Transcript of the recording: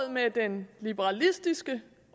med den liberalistiske